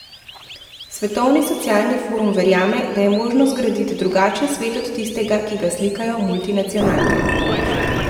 Svetovni socialni forum verjame, da je možno zgraditi drugačen svet od tistega, ki ga slikajo multinacionalke.